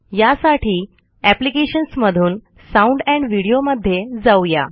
यासाठी अॅ्प्लिकेशन्समधून sound and video मध्ये जाऊ या